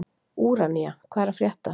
Úranía, hvað er að frétta?